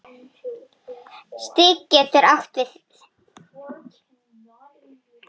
Stig getur átt við